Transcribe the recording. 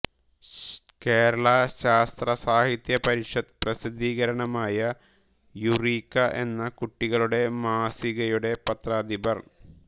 കേരള ശാസ്ത്ര സാഹിത്യ പരിഷത്ത് പ്രസിദ്ധീകരണമായ യുറീക്ക എന്ന കുട്ടികളുടെ മാസികയുടെ പത്രാധിപർ